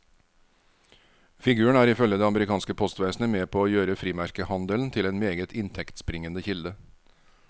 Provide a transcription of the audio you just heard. Figuren er ifølge det amerikanske postvesenet med på å gjøre frimerkehandelen til en meget inntektsbringende kilde.